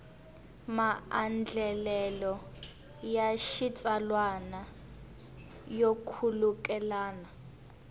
maandlalelo ya xitsalwana yo khulukelana